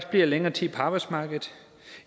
bliver længere tid på arbejdsmarkedet